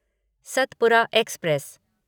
Satpura express